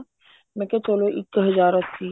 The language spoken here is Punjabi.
ਮੈਂ ਕਿਹਾ ਚਲੋ ਇੱਕ ਹਜ਼ਾਰ ਅੱਸੀ